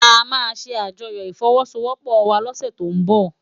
Ámá sé ájòyò ifòwòsówòpò wá lòsè tó n bò